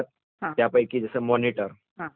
ज्याच्यामधे आपल्याला सर्व जे माहिती दिसते..